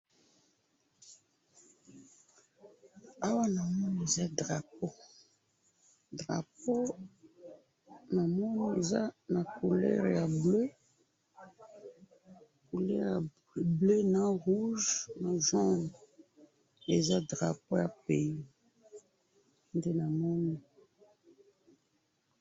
awa namoni eza drapeau, drapeau namoni eza na couleur ya bleu couleur ya bleu na rouge na vert eza drapeau ya pay nde namoni